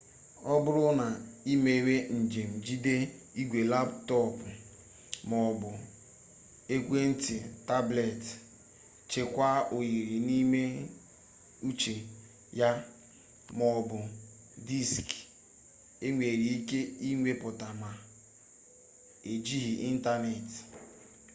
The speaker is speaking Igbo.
oburu na imewe njem jide igwe laptopu maobu ekwe-nti tableti chekwaa oyiri n’ime ucje ya maobu diski enwere-ike inweta ma ejighi intaneti